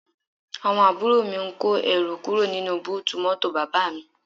Àwọn àbúrò mi ń kó ẹrù kúrò nínú búùtù mọ́tò bàbá mi